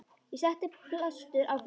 Ég setti blástur á fötin.